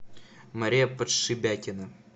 мария подшибякина